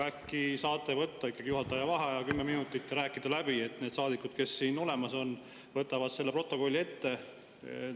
Äkki saate võtta juhataja vaheaja kümme minutit, rääkida läbi, et need saadikud, kes siin olemas on, võtaksid selle protokolli ette?